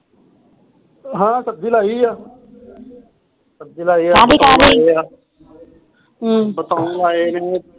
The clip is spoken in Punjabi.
ਹਾ ਸਬਜੀ ਲਾਈ ਆ ਕਾਹਦੀ ਕਾਹਦੀ ਬਤਾਊ ਲਾਏ ਨੇ ਹਮ